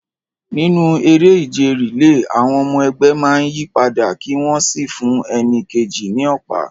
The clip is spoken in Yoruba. Nínú eré ìje relay, àwọn ọmọ ẹgbẹ́ máa ń yí padà kí wọ́n sì fún ẹni kejì ní ọ̀pá.